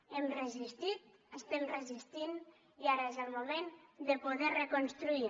hem resistit estem resistint i ara és el moment de poder reconstruir